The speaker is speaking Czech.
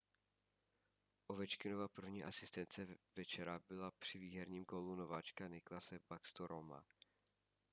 ovečkinova první asistence večera byla při výherním gólu nováčka nicklase backstroma